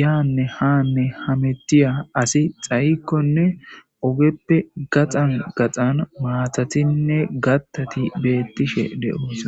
yaanne haanne hamettiya asi xayikkonne ogeppe gaxan gaxan maatatinne gattati beettishe de7onsa